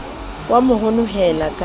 o a mo honohela ka